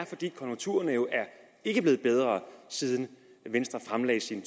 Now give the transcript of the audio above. fordi konjunkturerne ikke er blevet bedre siden venstre fremlagde sin